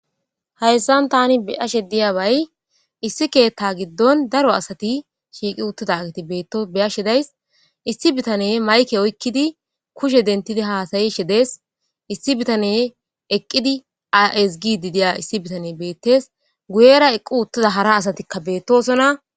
hayssan tani biashe diyabay issi keetta giddon daro asati shiiqi uttidagiti beetto beyashedays issi bitane mayke oykkidi kushe dentidi haasayi shedes issi bitane eqqidi a7esgididiya issi bitane beettes guyera eqqu uttida hara asatikka beettosona